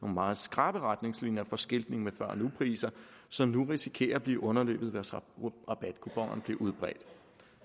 meget skrappe retningslinjer for skiltning med før og nupriser som nu risikerer at blive underløbet mens rabatkuponerne bliver udbredt det